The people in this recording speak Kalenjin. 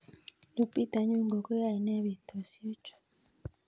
Lupita nyongo koyaenei betushechu